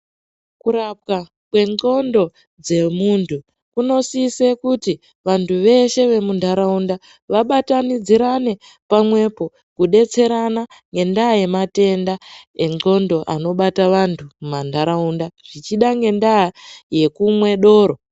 Kurapwa kwendxondo dzemuntu kunosise kuti vantu veshe vemuntaraunda vabatanidzirane, pamwepo kudetserana nendaa yematenda endxondo anobata vantu mumantaraunda, zvichida ngendaa yekumwe doro.